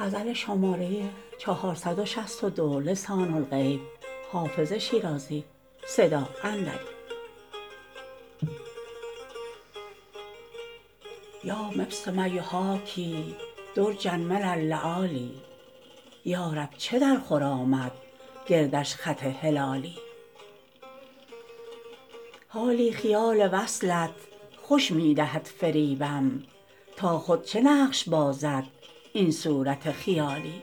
یا مبسما یحاکی درجا من اللآلی یا رب چه درخور آمد گردش خط هلالی حالی خیال وصلت خوش می دهد فریبم تا خود چه نقش بازد این صورت خیالی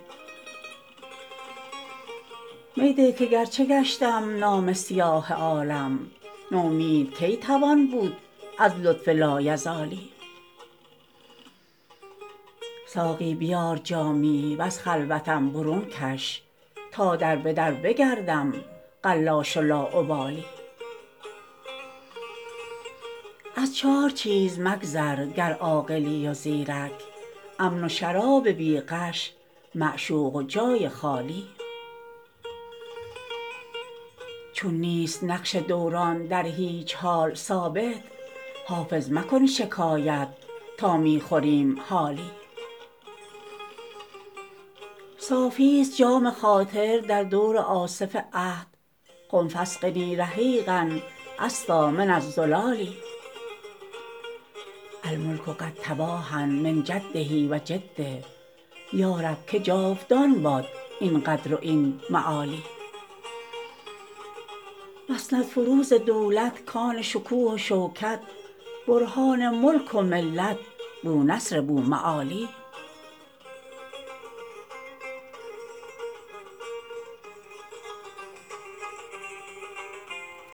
می ده که گرچه گشتم نامه سیاه عالم نومید کی توان بود از لطف لایزالی ساقی بیار جامی و از خلوتم برون کش تا در به در بگردم قلاش و لاابالی از چار چیز مگذر گر عاقلی و زیرک امن و شراب بی غش معشوق و جای خالی چون نیست نقش دوران در هیچ حال ثابت حافظ مکن شکایت تا می خوریم حالی صافیست جام خاطر در دور آصف عهد قم فاسقني رحیقا أصفیٰ من الزلال الملک قد تباهیٰ من جده و جده یا رب که جاودان باد این قدر و این معالی مسندفروز دولت کان شکوه و شوکت برهان ملک و ملت بونصر بوالمعالی